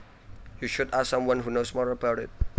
You should ask someone who knows more about it